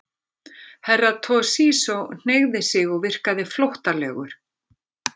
Herra Toshizo hneigði sig og virkaði flóttalegur.